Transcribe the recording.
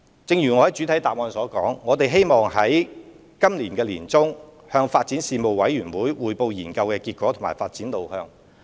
一如我在主體答覆所說，我們希望在今年年中向發展事務委員會匯報研究的結果及發展路向。